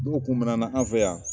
N'o kun minɛ na an fɛ yan